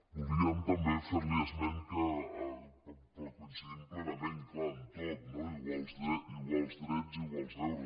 voldríem també fer·li esment que coincidim plena·ment és clar en tot no iguals drets iguals deures